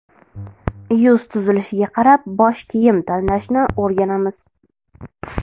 Yuz tuzilishiga qarab bosh kiyim tanlashni o‘rganamiz .